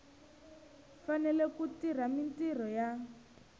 fanele ku tirha mintirho ya